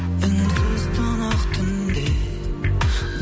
үнсіз тұнық түнде